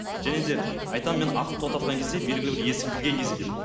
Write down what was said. және де айтамын мен ақыл тоқтатқан кезде белгілі бір есі кірген кезде деп